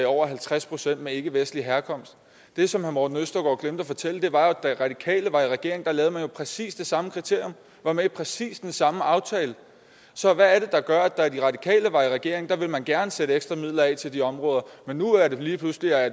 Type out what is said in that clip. over halvtreds procent med ikkevestlig herkomst det som herre morten østergaard glemte at fortælle var at da de radikale var i regering lavede man præcis det samme kriterie var med i præcis den samme aftale så hvad er det der gør at da de radikale var i regering ville man gerne sætte ekstra midler af til de områder men nu er det lige pludselig